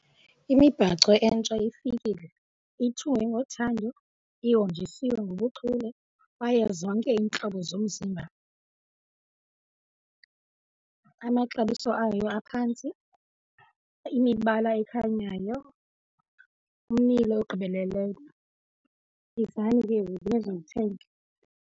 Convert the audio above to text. Imibhaco entsha ifikile, ithungwe ngothando, ihonjisiwe ngobuchule kwaye zonke iintlobo zomzimba. Amaxabiso ayo aphantsi, imibala ekhanyayo, ummilo ogqibeleleyo. Yizani ke nizowuthenga.